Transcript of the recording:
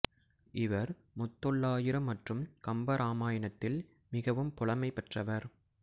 இவர் முத்தொள்ளாயிரம் மற்றும் கம்ப இராமாயாணத்தில் மிகவும் புலமை பெற்றவர்